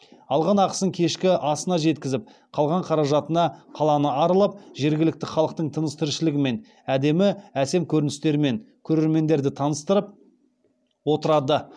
алған ақысын кешкі асына жеткізіп қалған қаражатына қаланы аралап жергілікті халықтың тыныс тіршілігімен әдемі әсем көріністерімен көрермендерді таныстырып отырады